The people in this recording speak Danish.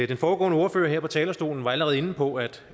den foregående ordfører her på talerstolen var allerede inde på at